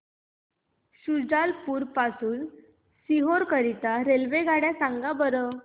शुजालपुर पासून ते सीहोर करीता रेल्वेगाड्या सांगा बरं